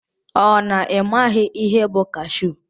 Ọ na imaghi ihe bụ kashu?